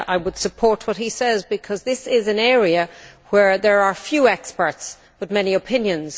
I would support what he says because this is an area where there are few experts, but many opinions.